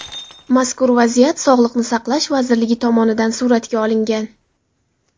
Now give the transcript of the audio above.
Mazkur vaziyat Sog‘liqni saqlash vazirligi tomonidan nazoratga olingan.